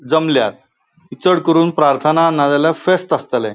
जमल्यात चड करून प्रार्थना ना जाल्यार फ़ेस्त आस्तले.